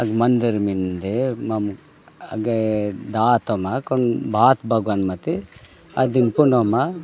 मंधर मिन्दे मम अगे दात मकन बात भगवान मते अदम तोनोमा --